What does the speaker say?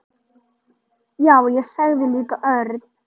Já, ég líka sagði Örn.